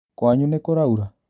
Kwanyu nĩkũraura?